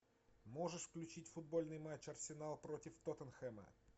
можешь включить футбольный матч арсенал против тоттенхэма